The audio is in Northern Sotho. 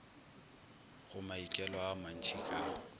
go maikelo a mantšhi ka